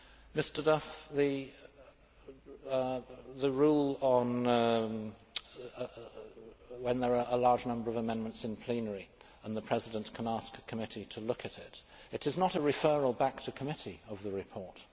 Mr Duff, the rule on when there are a large number of amendments in plenary and the President can ask a committee to look at it it is not a referral back to committee of the report.